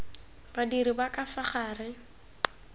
badiri ba ka fa gare